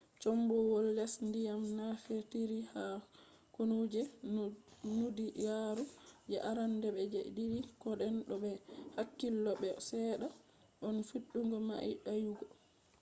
combowol les ndiyam nafitiri ha kunu je duniyaru je arande be je didi. koden don be hakkilo be bo sedda on fidugo mai dayugo